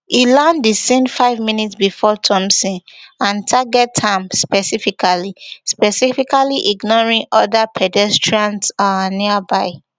e land di scene five minutes before thompson and target am specifically specifically ignoring oda pedestrians um nearby